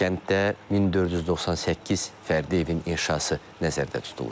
Kənddə 1498 fərdi evin inşası nəzərdə tutulur.